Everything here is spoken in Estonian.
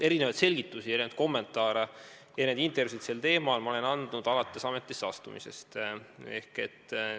Erinevaid selgitusi, erinevaid kommentaare, erinevaid intervjuusid olen ma sel teemal andnud ametisse astumisest alates.